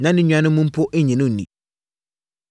Na ne nuanom mpo nnye no nni.